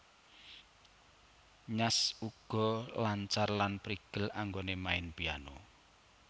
Nyash uga lancar lan prigel anggonè main Piano